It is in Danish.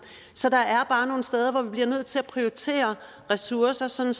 så der er bare nogle steder hvor vi bliver nødt til at prioritere ressourcer sådan